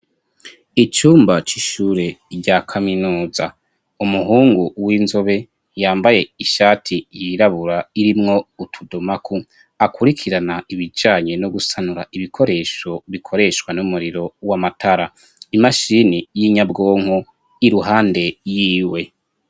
Icumba c'ishure rya kaminuza ,umuhungu w'inzobe yambaye ishati yirabura irimwo utudomagu, akurikirana ibijanye no gusanura ibikoresho bikoreshwa n'umuriro w'amatara imashini y'inyabwonko iruhande y'iwe.